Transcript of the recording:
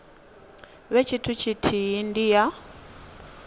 vhe tshithu tshithihi ndi ya